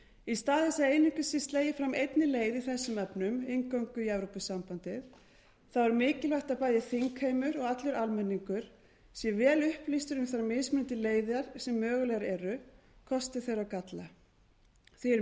í stað þess að einungis sé slegið fram einni leið í þessum efnum inngöngu í evrópusambandið þá er mikilvægt að bæði þingheimur og allur almenningur sé vel upplýstur um þær mismunandi leiðir sem mögulegar eru kosti þeirra og galla því er